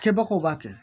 Kɛbagaw b'a kɛ